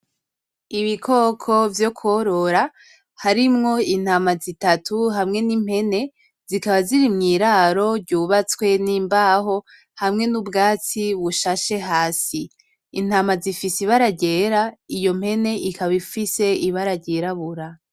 Ibikoko vyo kworora harimwo intama z'itatu hamwe n'impene, zikaba ziri mw'iraro ryubatswe n'imbaho hamwe n'ubwatsi bushashe hasi. Intama zifise ibara ryera, iyo mpene ikab' ifise ibara ryirabura.